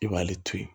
I b'ale to ye